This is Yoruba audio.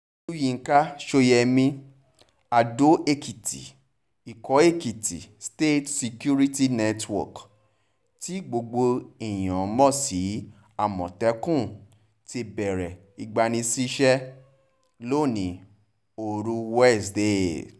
olùyinka sóyemí adó-èkìtì ikọ̀ èkìtì state security network tí gbogbo èèyàn mọ̀ sí àmọ̀tẹ́kùn ti bẹ̀rẹ̀ ìgbanisíṣẹ́ lónìí ooru wíṣèdèe